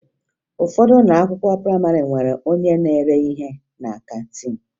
Ụfọdụ ụlọ akwụkwọ prayịmarị nwere onye na-ere ihe na kantiin